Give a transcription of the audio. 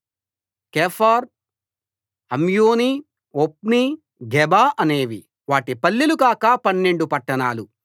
కెఫార్ Ammoni Ophni Geba అనేవి వాటి పల్లెలు కాక పన్నెండు పట్టణాలు